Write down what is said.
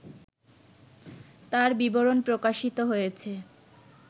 তার বিবরণ প্রকাশিত হয়েছে